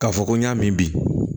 K'a fɔ ko n y'a min bi